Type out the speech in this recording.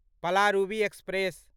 Palaruvi express